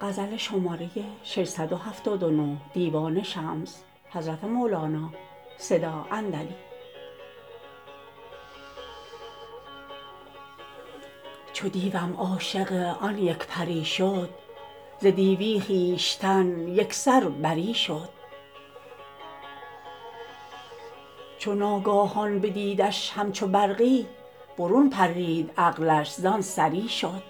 چو دیوم عاشق آن یک پری شد ز دیو خویشتن یک سر بری شد چو ناگاهان بدیدش همچو برقی برون پرید عقلش را سری شد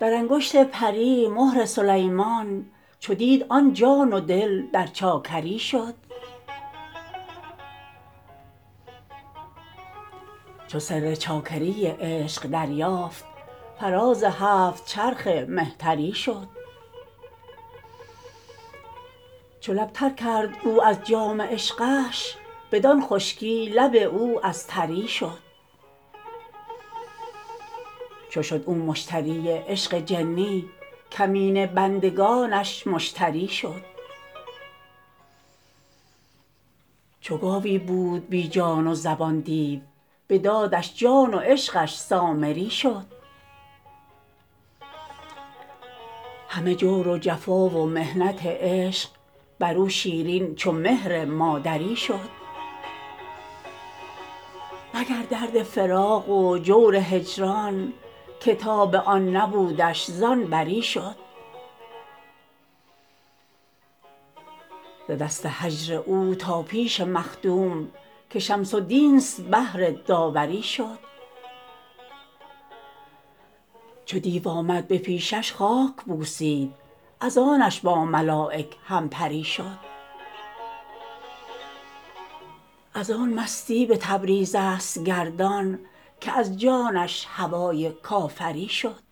در انگشت پری مهر سلیمان چو دید آن جان و دل در چاکری شد چو سر چاکری عشق دریافت فراز هفت چرخ مهتری شد چو لب تر کرد او از جام عشقش بدان خشکی لب او از تری شد چو شد او مشتری عشق جنی کمینه بندگانش مشتری شد چو گاوی بود بی جان و زبان دیو بداد جان و عشقش سامری شد همه جور و جفا و محنت عشق بر او شیرین چو مهر مادری شد مگر درد فراق و جور هجران که تاب آن نبودش زان بری شد ز دست هجر او تا پیش مخدوم که شمس الدین است بهر داوری شد چو دیو آمد به پیشش خاک بوسید از آتش با ملایک همپری شد از آن مستی به تبریز است گردان که از جانش هوای کافری شد